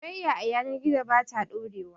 Soyayya a yanar gizo ba ta ɗorewa